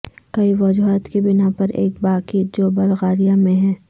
کئی وجوہات کی بناء پر ایک باقی جو بلغاریہ میں ہے